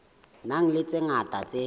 nang le tse ngata tse